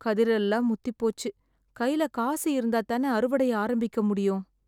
கதிரெல்லாம் முத்திப் போச்சு, கைல காசு இருந்தா தானே அறுவடைய ஆரம்பிக்க முடியும்.